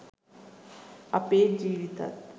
අපේ ජීවිතත්